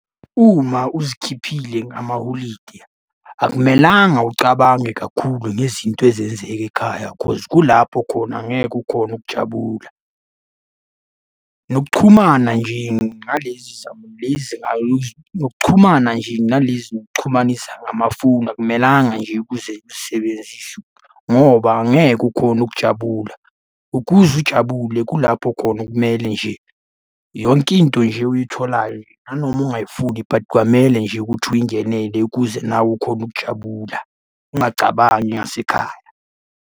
Uma uzikhiphile ngamaholide, akumelanga ucabange kakhulu ngezinto ezenzeka ekhaya cause kulapho khona ngeke ukhone ukujabula. Nokuxhumana nje ngalezi . Nokuxhumana nje nalezi zokuxhumanisa ngamafoni akumelanga nje ukuze uzisebenzise, ngoba angeke ukhone ukujabula. Ukuze ujabule kulapho khona okumele nje yonke into nje uyitholayo, nanoma ungayifuni but kwamele nje ukuthi uyingenele ukuze nawe ukhone ukujabula, ungacabangi ngasekhaya.